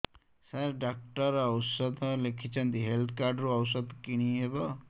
ସାର doctor ଔଷଧ ଲେଖିଛନ୍ତି health card ରୁ ଔଷଧ କିଣି ହେବ